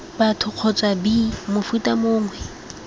batho kgotsa b mofuta mongwe